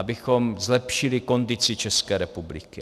Abychom zlepšili kondici České republiky.